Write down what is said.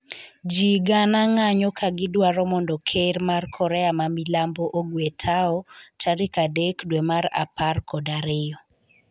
ji gana ng'anyo ka gidwaro mondo ker mar korea ma milambo ogwe tawo tarik adek dwe mar apar kod ariyo